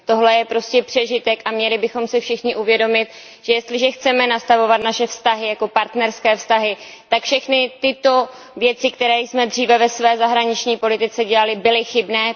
Tohle je prostě přežitek a měli bychom si všichni uvědomit, že jestliže chceme nastavovat naše vztahy jako partnerské vztahy, tak všechny tyto věci, které jsme dříve ve své zahraniční politice dělali, byly chybné.